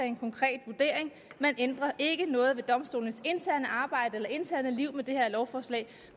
en konkret vurdering man ændrer ikke noget ved domstolenes interne arbejde eller interne liv med det her lovforslag